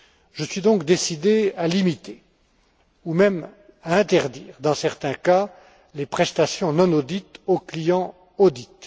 Je suis donc décidé à limiter, voire même à interdire dans certains cas, les prestations non audit aux clients audit.